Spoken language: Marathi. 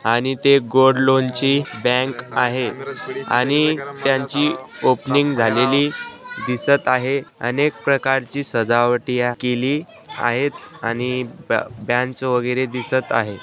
आणि ते गोल्ड लोनची बँक आहे आणि त्यांची ओपनिंग झालेली दिसत आहे अनेक प्रकारची सजावट्या केली आहेत आणि ब्या बेंच वैगेरे दिसत आहे.